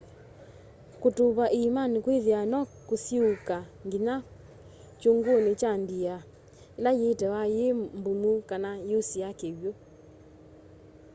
kutuva iimani kwithiawa no kusiuuka nginya kyunguni kya ndia ila yitiawa yi mbumu kana yusie kiw'u